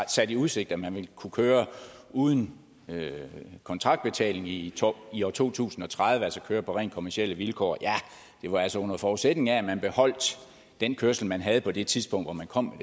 stillet i udsigt at man vil kunne køre uden kontraktbetaling i i år to tusind og tredive altså køre på rent kommercielle vilkår ja det var altså under forudsætning af at man beholdt den kørsel man havde på det tidspunkt hvor man kom